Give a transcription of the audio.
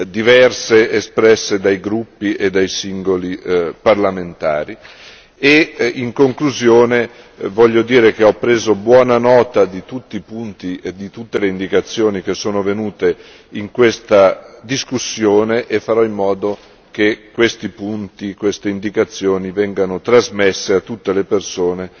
diverse espresse dai gruppi e dai singoli parlamentari e, in conclusione, voglio dire che ho preso buona nota di tutti i punti e di tutte le indicazioni che sono emerse in questa discussione e farò in modo che questi punti e queste indicazioni vengano trasmesse a tutte le persone